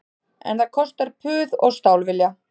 En það kostar puð og stálvilja